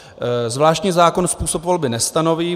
Zvláštní zákon způsob volby nestanoví.